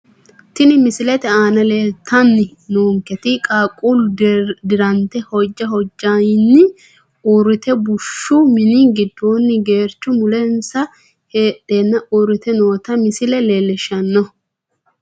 Tini misilete aana leelitani noonketi qaaqullu dirante hojja hojjayeni uurite bushu mini gidooni gerecho mulensa heedhana uurite noota misile lelishano.